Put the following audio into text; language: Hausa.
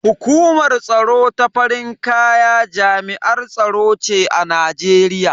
Hukumar tsaro ta farin kaya jami'ar tsaro ce a Najeriya.